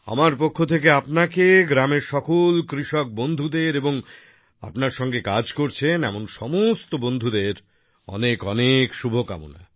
আমার পক্ষ থেকে আপনাকে গ্রামের সকল কৃষক বন্ধুদের এবং আপনার সঙ্গে কাজ করছেন এমন সমস্ত বন্ধুদের অনেক অনেক শুভকামনা